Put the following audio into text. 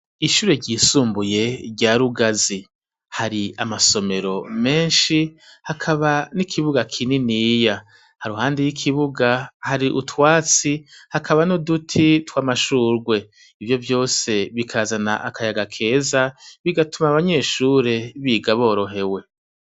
Ishure ry'isumbuye rya Rugazi, hari amasomero menshi hakaba n'ikibuga kininiya. Hampande y'ikibuga hari utwatsi, hakaba uduti tw'amashurwe. Ivio vyose bikazana akayaga keza bigatuma abanyeshure biga borohewe.